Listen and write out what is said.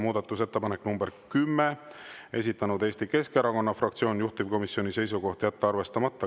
Muudatusettepanek nr 10, esitanud Eesti Keskerakonna fraktsioon, juhtivkomisjoni seisukoht on jätta arvestamata.